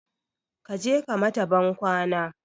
Kaje ka mata ban kwana